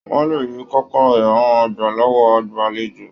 Wọn lè rí kọ̀kọ̀rọ̀ yàrá wọn gbà lọwọ agbalejo.